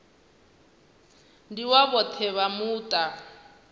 ndi wa vhoṱhe vha muṱa